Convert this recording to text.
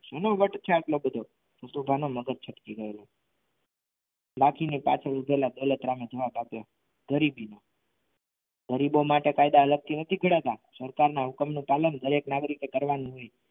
શેનો વટ છે આટલો બધો નથુભા નું મગજ છટકી ગયું લાઠીના પાછળ ઉભેલા દોલતરામે જવાબ આપ્યો જરીક ગરીબો માટે કાયદા અલગથી નથી ગડાતા સરકારના હુકમનું પાલન દરેક નાગરિકે કરવાનું હોય.